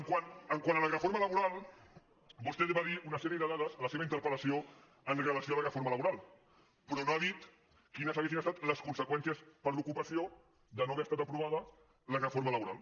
quant a la reforma laboral vostè va dir una sèrie de dades en la seva interpellaboral però no ha dit quines haurien estat les conse·qüències per a l’ocupació si no hagués estat aprovada la reforma laboral